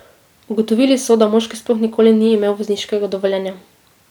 Ugotovili so, da moški sploh nikoli ni imel vozniškega dovoljenja.